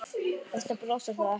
Best að brosa þá ekki.